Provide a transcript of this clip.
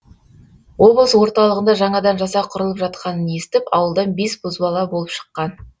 облыс орталығында жаңадан жасақ құрылып жатқанын естіп ауылдан бес бозбала болып шыққан